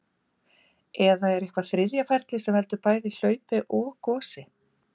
Eða er eitthvert þriðja ferli sem veldur bæði hlaupi og gosi?